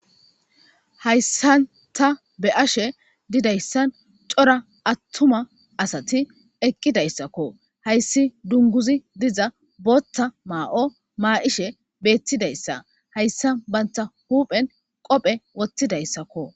hayssan ta be'ashe didayssan cora attuma asati eqqidayssakko hayssi dunguzi diza boothta maa'o maa'ishe beettidayssa hayssa banta huuphen qophe wothidayssakko